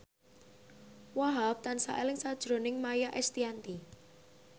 Wahhab tansah eling sakjroning Maia Estianty